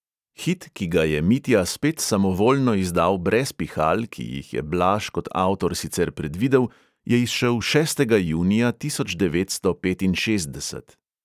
Hit, ki ga je mitja spet samovoljno izdal brez pihal, ki jih je blaž kot avtor sicer predvidel, je izšel šestega junija tisoč devetsto petinšestdeset.